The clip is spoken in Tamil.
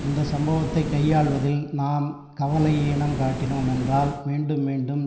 இந்த சம்பவத்தை கையாள்வதில் நாம் கவலையீனம் காட்டினோம் என்றால் மீண்டும் மீண்டும்